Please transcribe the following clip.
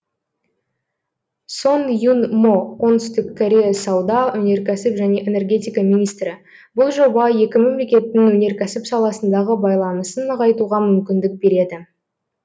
сон юн мо оңтүстік корея сауда өнеркәсіп және энергетика министрі бұл жоба екі мемлекеттің өнеркәсіп саласындағы байланысын нығайтуға мүмкіндік береді